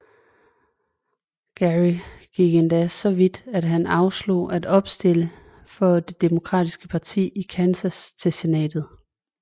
Geary gik endda så vidt at han afslog at opstille for det demokratiske parti i Kansas til senatet